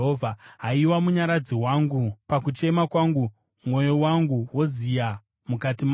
Haiwa, Munyaradzi wangu, pakuchema kwangu, mwoyo wangu woziya mukati mangu.